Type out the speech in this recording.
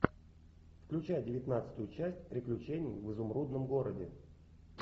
включай девятнадцатую часть приключений в изумрудном городе